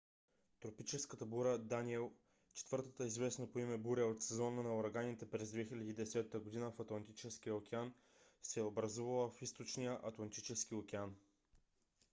тропическата буря даниел четвъртата известна по име буря от сезона на ураганите през 2010 година в атлантическия океан се е образувала в източния атлантически океан